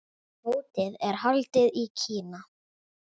Mótið er haldið í Kína.